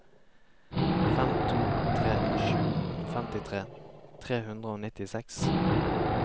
fem to tre sju femtitre tre hundre og nittiseks